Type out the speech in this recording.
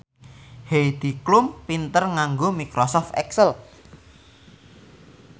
Heidi Klum pinter nganggo microsoft excel